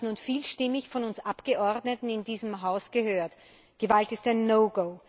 Sie haben es nun vielstimmig von uns Abgeordneten in diesem Haus gehört Gewalt ist ein No Go.